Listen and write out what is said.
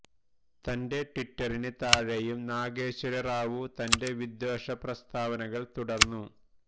തന്റെ ട്വിറ്റിന് താഴെയും നാഗേശ്വര റാവു തന്റെ വിദ്വേഷ പ്രസ്തവനകള് തുടര്ന്നു